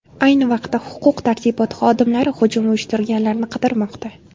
Ayni vaqtda huquq-tartibot xodimlari hujum uyushtirganlarni qidirmoqda.